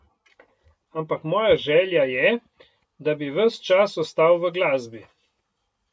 Ampak moja želja je, da bi ves čas ostal v glasbi.